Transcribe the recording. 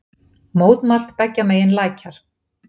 Mótmælt beggja megin lækjar